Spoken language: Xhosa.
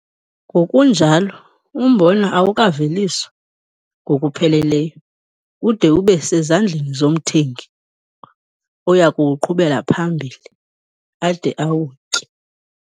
Ngokunjalo, umbona "awukaveliswa" ngokupheleleyo ude ube sezandleni zomthengi oya kuwuqhubela phambili ade awutye.